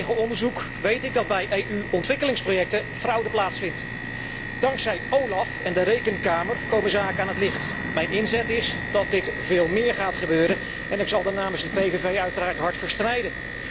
Uit eigen onderzoek weet ik dat bij EU ontwikkelingsprojecten fraude plaatsvindt. Dankzij OLAF en de Rekenkamer komen zaken aan het licht. Mijn inzet is erop gericht dat dit veel meer gaat gebeuren en ik zal hier namens de PVV uiteraard hard voor strijden.